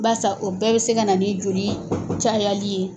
Barisa o bɛɛ bɛ se ka na ni joli cayali ye.